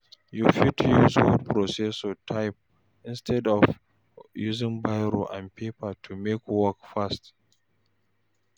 You fit use word processor type instead of using biro and paper to make work fast